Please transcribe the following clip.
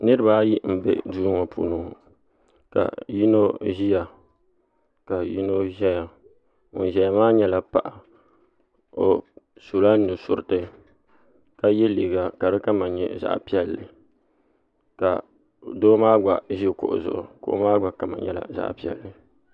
Niriba ayi m be duu ŋɔ puuni ka yino ʒia ka yino ʒɛya ŋun ʒɛya maa nyɛla paɣa o sula nusuriti ka ye liiga ka di kama nyɛ zaɣa piɛlli ka doo maa gba ʒi kuɣu zuɣu kuɣu maa gba kama nyɛla zaɣa piɛlli.